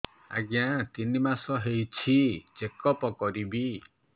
ଆଜ୍ଞା ତିନି ମାସ ହେଇଛି ଚେକ ଅପ କରିବି